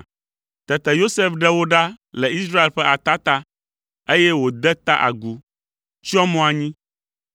Tete Yosef ɖe wo ɖa le Israel ƒe atata, eye wòde ta agu, tsyɔ mo anyi.